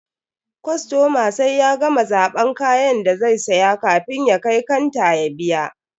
Kostoma sai ya gama zaban kayan da zai siya kafin ya kai kanta ya biya.